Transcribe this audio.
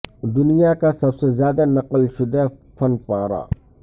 دنیا کا سب سے زیادہ نقل شدہ فن پارہ